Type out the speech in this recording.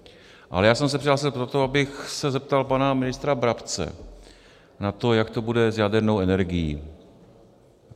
Ale já jsem se přihlásil proto, abych se zeptal pana ministra Brabce na to, jak to bude s jadernou energií.